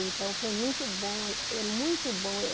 Então, foi muito bom, é é muito bom eu.